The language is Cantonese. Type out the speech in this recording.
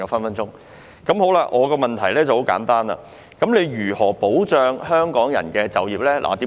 我的補充質詢很簡單：當局如何保障港人就業？